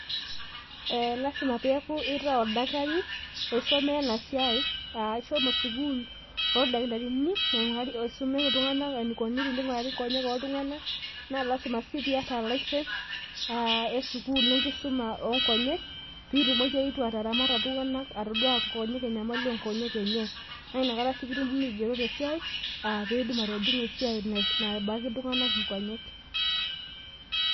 ilasima pee eku isomeya enasiaai aaishomo sukul ooldokitarini loing'uraa inkonyek , naa ilasima sii pee iyata license ,enkisuma oonyek pee itumoki atodua ikonyek oltung'ank.